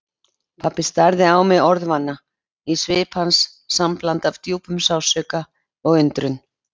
Pabbi starði á mig orðvana, í svip hans sambland af djúpum sársauka og undrun.